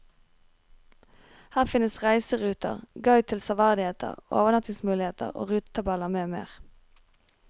Her finnes reiseruter, guide til severdigheter, overnattingsmuligheter og rutetabeller med mer.